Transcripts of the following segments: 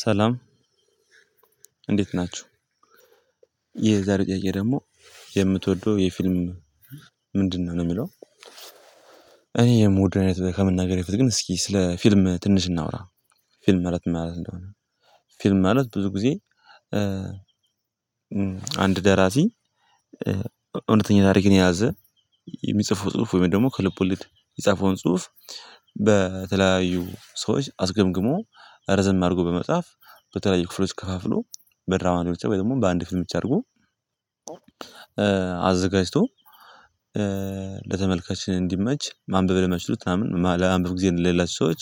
ሰላም እንዴት ናችሁ። የዛሬው ጥያቄ ደግሞ የምትወደው የፊልም ምንድነው ነው ሚለው? እኔ የምወደው ከምናገሬ በፊት ግን እስኪ ስለ ፊልም ትንሽ እናውራ ፊልም ማለት ምን ማለት እንደሆነ? ፊልም ማለት ብዙ ጊዜ አንድ ደራሲ እውነተኛ ታሪክን የያዘ የሚጽፈው ጽሁፍ ወይም ደግሞ ከልብ ወለድ የጻፈውን ጽሁፍ በተለያዩ ሰዎች አስገምግሞ ረዘም አድርጎ በመጻፍ በተለየ ክፍሎች ከፋፍሎ በድራማ አገልግሎት ወይም ደግሞ በአንድ ፊልም ብቻ አድርጎ አዘጋጅቶ ለተመልካች እንዲመች ማንበብ ለማይችሉት ምናምን ለማንበብ ጊዜ ለሌላቸው ሰዎች።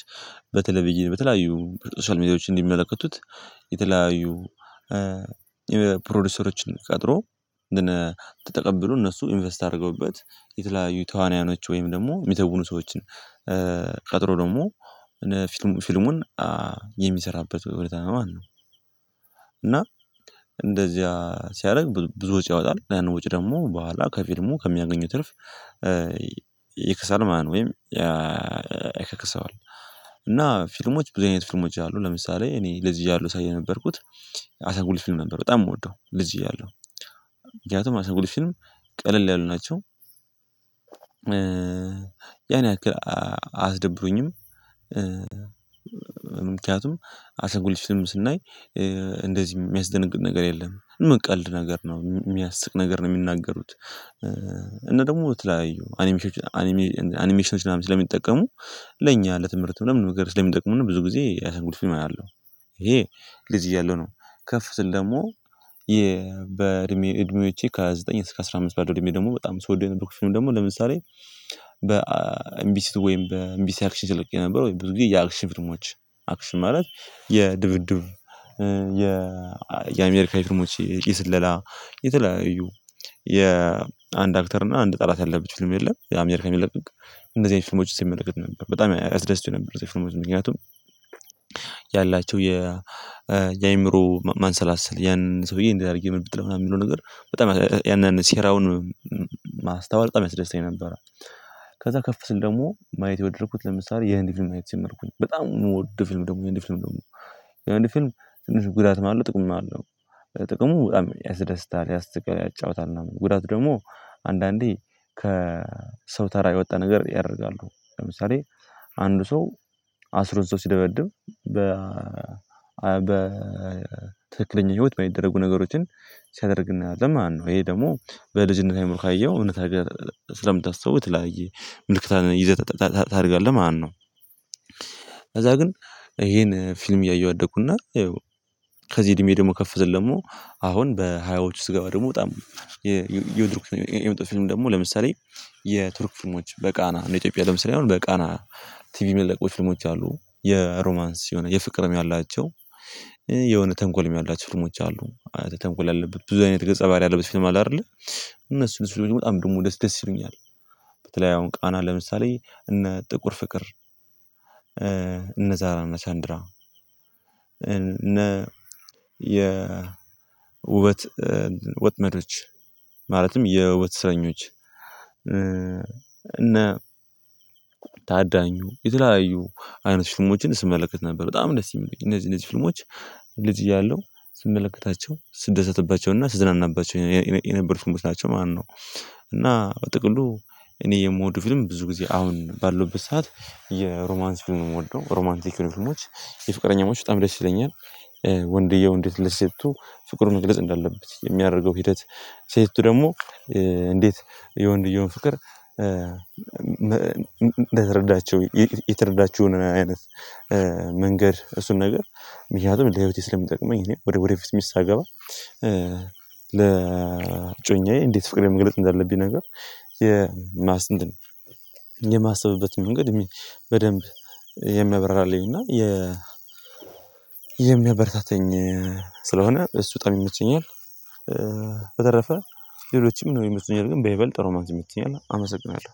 በተለይ ብዬ በተለያዩ ሶሻል ሚዲያዎች እንዲመለከቱት የተለያዩ የፕሮዲዩሰሮችን ቀጥሮ እንደነ ተቀብሎ እነሱ ኢንቨስት አድርገውበት የተለያዩ ተዋናያኖች ወይም ደግሞ የሚተውኑ ሰዎችን ቀጥሮ ደግሞ ፊልሙን የሚሰራበት ሁኔታ ነው ማለት ነው። እና እንደዚያ ሲያደርግ ብዙ ውጪ ያወጣል ያንን ወጪ ደግሞ በኋላ ከፊልሙ ከሚያገኘው ትርፍ ይክሳል ማን ወይም ያካክሳዋል። እና ፊልሞች ብዙ አይነት ፊልሞች አሉ ለምሳሌ እኔ ልጅ እያለሁ ሳይ የነበርኩት ፊልም ነበር በጣም የምወደው ልጅ እያለሁ ምክንያቱም አሻንጉሊት ፊልም ቀለል ያሉ ናቸው። ያን ያክል አያስደብሩኝም ምክንያቱም አሻንጉሊት ፊልም ስናይ እንደዚህ የሚያስደነግጥ ነገር የለም። ቀልድ ነገር ነው የሚያስቅ ነገር ነው የሚናገሩት እና ደግሞ የተለያዩ አኒሜሽኖች ምናምን ስለሚጠቀሙ ለኛ ለትምህርት ለምን ነገር ስለሚጠቀሙነ እና ብዙ ጊዜ ያሻንጉሊት ፊልም አያለው ይሄ ልጅ እያለሁ ነው። ከፍ ስል ደግሞ የ በእድሜ እድሜዎቼ ከዘጠኝ እስከ አስራ አምስት ባለው እድሜ ደግሞ በጣም ስወደው የነበርኩት ፊልም ደግሞ ለምሳሌ በኤምቢሲ ሁለት ወይም በኤምቢሲ አክሽን ሲለቀቁ የነበረው ወይም ብዙ ጊዜ የአክሽን ፊልሞች። አክሽን ማለት የድብድብ የ የአሜሪካ ፊልሞች የስለላ የተለያዩ የአንድ አክተር እና አንድ ጠላት ያለበት ፊልም የለም የአሜሪካ ሚለቀቅ እንደዚህ አይነት ፊልሞች ሲመለከት ነበር በጣም ያስደስቱኝ ነበር። የፊልሞቹ ምክንያቱም ያላቸው የ የአእምሮ ማንሰላሰል ያንን ሰውዬ እንዲህ አድርጌ ምን ምጥለው ምናምን የሚለው ነገር በጣም ያንን ሴራውን ማስተዋል በጣም ያስደስተኝ ነበር። ከዛ ከፍ ስል ደግሞ ማየት የወደድኩት ለምሳሌ የህንድ ፊልም ማየት የጀመርኩኝ በጣም የምወድ ፊልም ደግሞ የህንድ ፊልም ደግሞ ወደ ፊልም ትንሽ ጉዳትም አለው ጥቅምም ማለው ጥቅሙ በጣም ያስደስታል ያስተጋል ያጫውታል ምናምን ጉዳት ደግሞ አንዳንዴ ከሰው ተራ የወጣ ነገር ያደርጋሉ ለምሳሌ አንዱ ሰው አስሮ ሰው ሲደበድብ በ በትክክለኛ ህይወት በሚደረጉ ነገሮችን ሲያደርግ እናየዋለን ማለት ነው ይሄ ደግሞ በልጅነት አይምሮ ካየኸው እውነት አርገህ ስለምታስበው የተለያየ ምልክት ይዘህ ታደርጋለህ ማለት ነው። ከዛ ግን ይሄን ፊልም እያየሁ አደኩና ከዚህ እድሜ ደግሞ ከፍ ስል ደግሞ አሁን በሃያዎቹ ስገባ ደግሞ በጣም እየወደድኩት የመጣሁት ፊልም ደግሞ ለምሳሌ የቱርክ ፍልሞች በቃና እንደ ኢትዮጵያ ለምሳሌ አሁን በቃና ቲቪ ሚለቀቁ ፍልሞች አሉ። የሮማንስ የሆነ የፍቅርም ያላቸው የሆነ ተንኮልም ያላቸው ፊልሞች አሉ ተንኮል ያለበት ብዙ አይነት ገጸ ባህሪ ያለበት ፊልም አለ። አይደለ እነሱ እሱ ደግሞ በጣም ደግሞ ደስ ደስ ይሉኛል በተለይ አሁን ቃና ለምሳሌ እነ ጥቁር ፍቅር እነ ዛራና እና ቻንድራ እነ የ ውበት ወጥመዶች ማለትም የውበት እስረኞች እነ ታዳኙ የተለያዩ አይነት ፍልሞችን ስመለከት ነበር በጣም ደስ ሚል እነዚህ እነዚህ ፍልሞች ልጅ እያለሁ ስንመለከታቸው ስትደሰትባቸው እና ስዝናናባቸው የነበሩት ፊልሞች ናቸው ማለት ነው። እና በጥቅሉ እኔ የምወደው ፊልም ብዙ ጊዜ አሁን ባለውበት ሰዓት የሮማንስ ፊልም ነው የምወደው ሮማንቲክ የሆኑ ፊልሞች የፍቅረኛሞች በጣም ደስ ይለኛል። ወንድየው እንዴት ልሴቱ ፍቅር መግለጽ እንዳለበት የሚያደርገው ሂደት ሴቲቱ ደግሞ እንዴት የወንድየውን ፍቅር እንደተረዳቸው የተረዳችሁን አይነት መንገድ እሱን ነገር ምክንያቱም ለህይወቴ ስለምጠቅመኝ እኔ ወደ ወደፊት ሚስት ሳገባ ለጮኛዬ እንዴት ፍቅሬን መግለጽ እንዳለብኝ ነገር የማስብበት የማሰብበት መንገድ በደንብ የሚያብራራልኝ እና የ የሚያበረታታኝ ስለሆነ እሱ ጣም ይመቸኛል። በተረፈ ሌሎችም ነው ይመቹኛል ግን በይበልጥ ሮማንስ ይመችኛል። አመሰግናለሁ